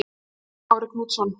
Þórhallur Kári Knútsson